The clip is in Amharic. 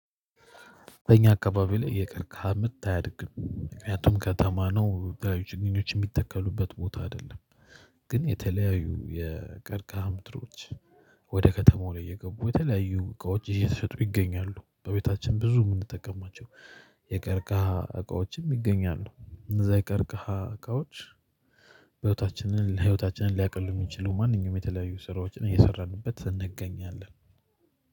በእኛ አከባቢ ላይ የቀርከሃ ምርት አያድግም ምክንያቱም ከተማ ነው። ተለያዩ ችግኞች የሚተከሉበት ቦታ አይደለም። ግን የተለያዩ የቀርከሃ ምርቶች ወደ ከተማው ላይ የገቡ የተለያዩ እቃዎች እየተሸጡ ይገኛሉ። በቤታችን ብዙ የምንጠቀማቸው የቀርከሃ እቃዎችም ይገኛሉ እንደዛ ይቀርቅሃ እቃዎች ህይወታችንን ለህይወታችንን ሊያቅል የሚችለው ማንኛውም የተለያዩ ስራዎችን እየሰራንበት እንገኛለን።